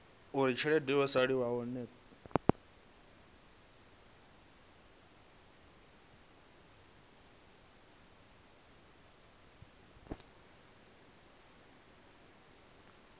uri tshelede yo salelaho i